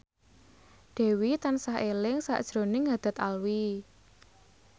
Dewi tansah eling sakjroning Haddad Alwi